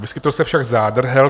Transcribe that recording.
Vyskytl se však zádrhel.